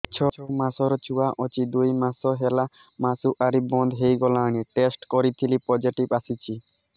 ଛଅ ମାସର ଛୁଆ ଅଛି ଦୁଇ ମାସ ହେଲା ମାସୁଆରି ବନ୍ଦ ହେଇଗଲାଣି ଟେଷ୍ଟ କରିଥିଲି ପୋଜିଟିଭ ଆସିଛି